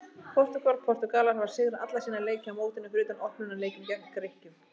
Portúgal: Portúgalar hafa sigrað alla sína leiki á mótinu fyrir utan opnunarleikinn gegn Grikkjum.